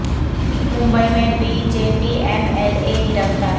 ممبئی میں B J P M L A گرفتار